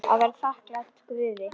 Að vera þakklát Guði.